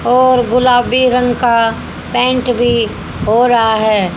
और गुलाबी रंग का पेंट भी हो रहा है।